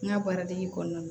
N ka baara dege kɔnɔna na